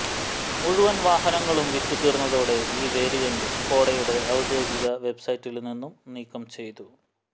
മുഴുവന് വാഹനങ്ങളും വിറ്റു തീര്ന്നതോടെ ഈ വേരിയന്റ് സ്കോഡയുടെ ഔദ്യോഗിക വെബ്സൈറ്റില് നിന്നും നീക്കം ചെയ്തു